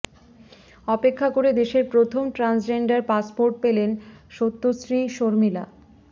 অপেক্ষা করে দেশের প্রথম ট্রান্সজেন্ডার পাসপোর্ট পেলেন সত্যশ্রী শর্মিলা